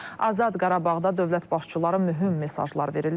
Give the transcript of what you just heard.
Azad Qarabağda dövlət başçıları mühüm mesajlar verirlər.